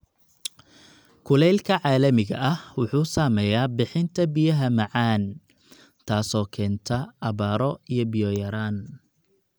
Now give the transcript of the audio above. Kulaylka caalamiga ah wuxuu saameeyaa bixinta biyaha macaan, taasoo keenta abaaro iyo biyo yaraan.